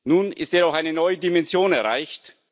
Nun ist jedoch eine neue Dimension erreicht.